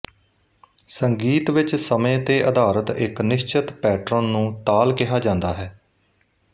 ਸੰਗੀਤ ਵਿੱਚ ਸਮੇਂ ਤੇ ਆਧਾਰਿਤ ਇੱਕ ਨਿਸ਼ਚਿਤ ਪੈਟਰਨ ਨੂੰ ਤਾਲ ਕਿਹਾ ਜਾਂਦਾ ਹੈ